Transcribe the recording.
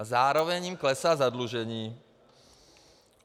A zároveň jim klesá zadlužení.